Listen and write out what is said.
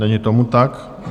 Není tomu tak.